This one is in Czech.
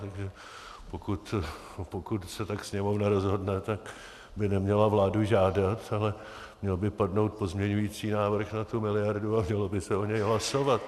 Takže pokud se tak Sněmovna rozhodne, tak by neměla vládu žádat, ale měl by padnout pozměňovací návrh na tu miliardu a mělo by se o něm hlasovat.